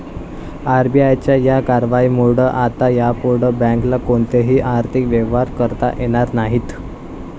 आरबीआयच्या या कारवाईमुळं आता यापुढं बँकेला कोणतेही आर्थिक व्यवहार करता येणार नाहीत.